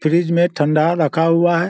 Fridge में ठंडा रखा हुआ है।